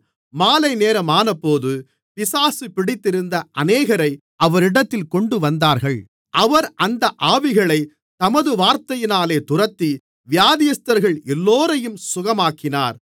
மாலைநேரமானபோது பிசாசு பிடித்திருந்த அநேகரை அவரிடத்தில் கொண்டுவந்தார்கள் அவர் அந்த ஆவிகளைத் தமது வார்த்தையினாலே துரத்தி வியாதியஸ்தர்கள் எல்லோரையும் சுகமாக்கினார்